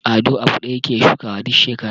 Ado abu ɗaya yake shukawa duk shekara.